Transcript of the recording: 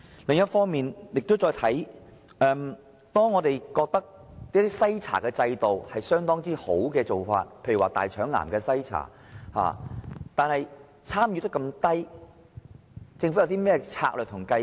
另一方面，即使是一些我們認為已做得很好的篩查制度，例如大腸癌篩查，參與率也是非常低。